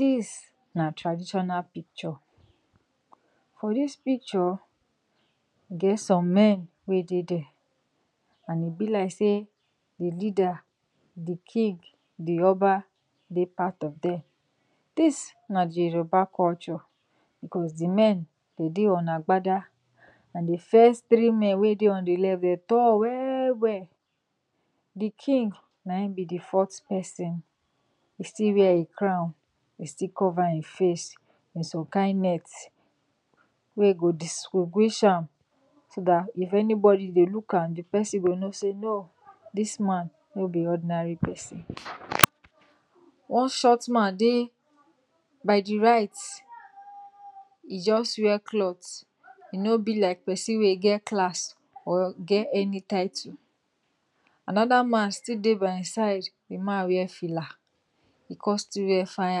dis na taditional picture, on di picture e get some men wey dey there and e bi like say the king, the oba dey part of them, this na di yoruba culture cos the men dey dey on agbada, the first three men wey dey on the left dey tall well well, di king na e con bi the first person e still wear him crown, e still cover him face with some kind net wey go distinguish am so if anybody dey look am di person go no say dis no o this man no bi ordinary person. one short man dey by di right, e just wear cloth, e no bi like oerson wey get class or get title, another one constill waer fine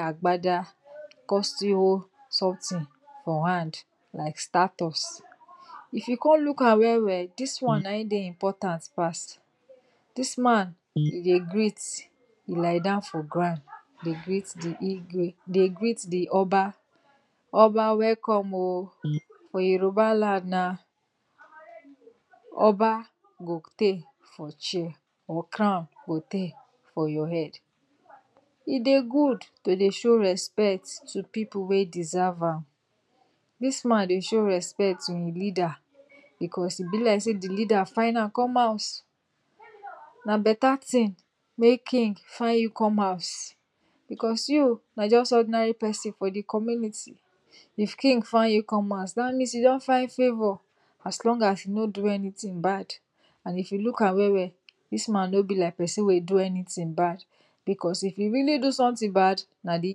agbada con still hold somethin for hand like statutes. if you con look am well well, dis one, na e dey important pass. dis man, e dey greet, e lie down for ground, dey greet the igwe dey greet di oba, welcome o, for yorubaland na oba go tey for chair or crown go try for your head, e dey gud to show respect to people wey e deserve am, dis man dey show respect to di leader because e bi like say the leader find am come house because you na just ordinary persone for di community, if king find you con house dat mean you don find favor as long you no do anytin bad because if e really do sometin bad, di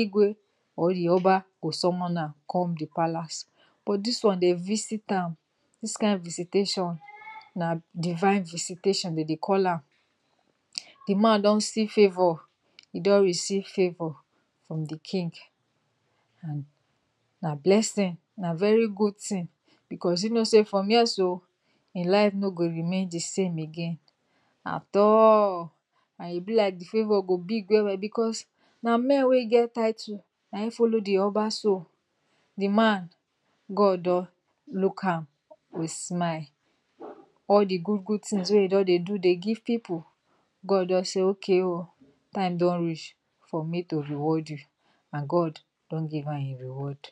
igwe ot di oba go summon am con di palace, this one dem visit am na divine visitation dem dey call am. the man don see favor, e don receive favor from di king na blessing na very good tin cos e no say for years o e life no go remain dsame again at all and e be like di favor go big well well because na men wey get title na e follow di oba, God don look am with smile, all di gud gud tin wey e don dey give people, God don say okay o time don reach for me to reward you and God don give am him reward.